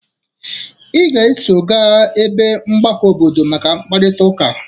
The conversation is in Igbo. Ị ga-eso ga ebe mgbakọ obodo maka mkparịtaụka!